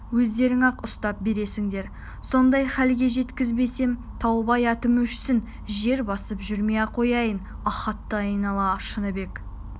өздерің-ақ ұстап бересіңдер сондай халге жеткізбесем таубай атым өшсін жер басып жүрмей-ақ қояйын ахатты айнала шыныбек